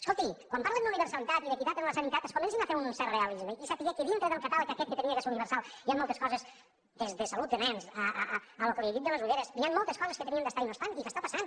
escolti quan parlen d’universalitat i d’equitat en la sanitat comencin ho a fer amb un cert realisme i a saber que dintre del catàleg aquest que havia de ser universal hi han moltes coses des de salut de nens al que li he dit de les ulleres que hi haurien d’estar i no hi estan i que està passant